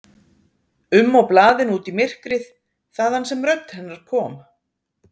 um og blaðinu út í myrkrið, þaðan sem rödd hennar kom.